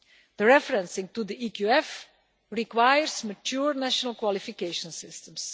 The reference to the EQF requires mature national qualification systems.